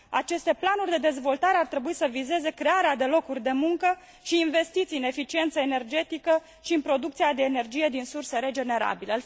Aceste planuri de dezvoltare ar trebui să vizeze crearea de locuri de muncă și investiții în eficiență energetică și în producția de energie din surse regenerabile.